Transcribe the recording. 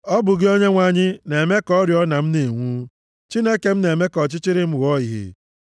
Ọ bụ gị, Onyenwe anyị, na-eme ka oriọna m na-enwu, Chineke m na-eme ka ọchịchịrị m ghọọ ìhè.